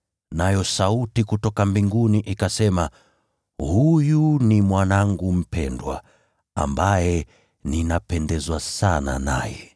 Nayo sauti kutoka mbinguni ikasema, “Huyu ni Mwanangu mpendwa, ambaye ninapendezwa sana naye.”